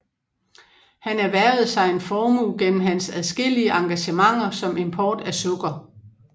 Han erhvervede sig en formue gennem hans adskillige engagementer som import af sukker